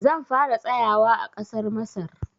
Zan fara tsayawa a ƙasar Masar.